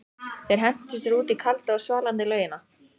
Þeir hentu sér út í kalda og svalandi laugina.